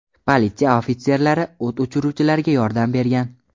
Politsiya ofitserlari o‘t o‘chiruvchilarga yordam bergan.